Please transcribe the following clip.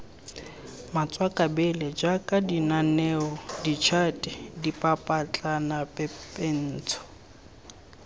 matswakabele jaaka mananeo ditšhate dipapetlanapepentsho